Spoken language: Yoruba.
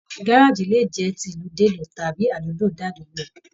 Gárájí le jẹ tí ìlú dé ìlú tàbí àdúgbò dé àdúgbò.